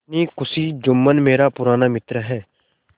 अपनी खुशी जुम्मन मेरा पुराना मित्र है